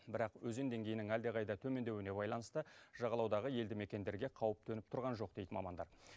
бірақ өзен деңгейінің әлдеқайда төмендеуіне байланысты жағалаудағы елді мекендерге қауіп төніп тұрған жоқ дейді мамандар